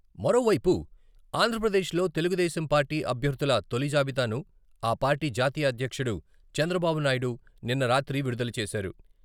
మరోవైపు, ఆంధ్రప్రదేశ్ లో తెలుగు దేశం పార్టీ అభ్యర్ధుల తొలి జాబితాను ఆ పార్టీ జాతీయ అధ్యక్షుడు చంద్రబాబునాయుడు నిన్న రాత్రి విడుదల చేశారు.